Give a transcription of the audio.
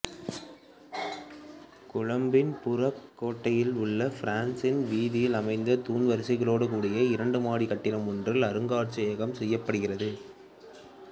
கொழும்பின் புறக்கோட்டையில் உள்ள பிரின்ஸ் வீதியில் அமைந்த தூண் வரிசைகளோடு கூடிய இரண்டுமாடிக் கட்டிடம் ஒன்றில் இந்த அருங்காட்சியகம் செயற்படுகிறது